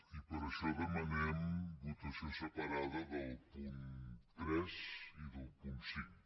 i per això demanem votació separada del punt tres i del punt cinc